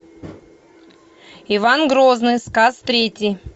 иван грозный сказ третий